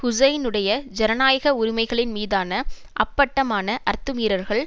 ஹூசைனுடைய ஜனநாயக உரிமைகளின் மீதான அப்பட்டமான அத்துமீறல்கள்